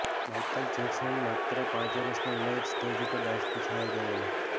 Michael Jackson માત્ર પાંચ વર્ષની ઉંમરે જ સ્ટેજ ઉપર ડાન્સથી છવાઈ ગયેલો